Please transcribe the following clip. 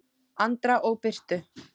Andra og Birtu.